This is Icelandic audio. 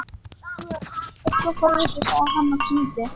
Þú ert svo forvitinn sagði hann og kímdi.